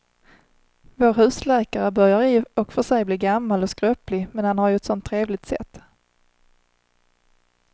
Vår husläkare börjar i och för sig bli gammal och skröplig, men han har ju ett sådant trevligt sätt!